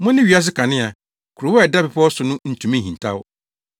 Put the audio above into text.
“Mone wiase kanea. Kurow a ɛda bepɔw so no ntumi nhintaw.